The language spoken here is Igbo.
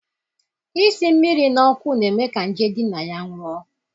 Isi mmiri na ọkụ na-eme ka nje di na ya nwụọ